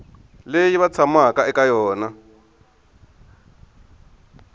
leyi va tshamaka eka yona